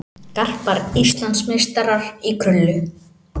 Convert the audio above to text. Garpar Íslandsmeistarar í krullu